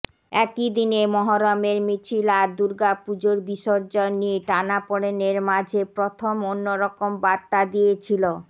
একই দিনে মহরমের মিছিল আর দুর্গাপুজোর বিসর্জন নিয়ে টানাপড়েনের মাঝে প্রথম অন্য রকম বার্তা দিয়েছিল